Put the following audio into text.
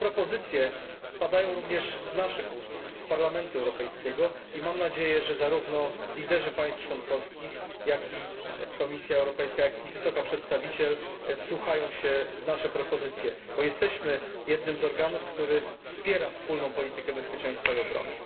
Te propozycje padają również z naszych ust z Parlamentu Europejskiego i mam nadzieję, że zarówno liderzy państw członkowskich, jak i Komisja Europejska, jak i Wysoka Przedstawiciel wsłuchają się w nasze propozycje, bo jesteśmy jednym z organów, które wspierają wspólną politykę bezpieczeństwa i obrony.